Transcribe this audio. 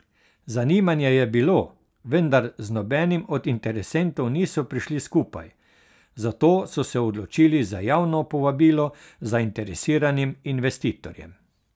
Zanimanje je bilo, vendar z nobenim od interesentov niso prišli skupaj, zato so se odločili za javno povabilo zainteresiranim investitorjem.